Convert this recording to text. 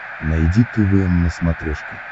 найди твм на смотрешке